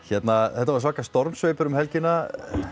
þetta var svaka stormsveipur um helgina